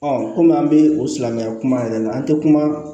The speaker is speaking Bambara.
kɔmi an bɛ o silamɛya kuma yɛrɛ la an tɛ kuma